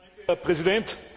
Herr Präsident!